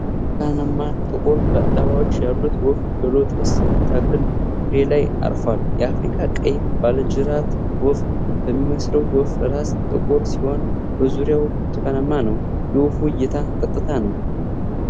ብርቱካናማና ጥቁር ላባዎች ያሉት ወፍ በሎተስ ተክል ፍሬ ላይ አርፏል። የአፍሪካ ቀይ ባለጅራት ወፍ በሚመስለው ወፍ ራስ ጥቁር ሲሆን በዙሪያው ብርቱካናማ ነው። የወፉ እይታ ቀጥታ ነው።